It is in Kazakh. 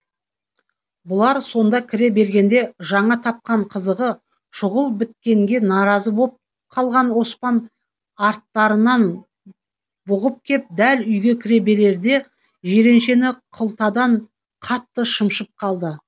бұлар сонда кіре бергенде жаңа тапқан қызығы шұғыл біткенге наразы боп қалған оспан арттарынан бұғып кеп дәл үйге кіре берерде жиреншені қылтадан қатты шымшып қалды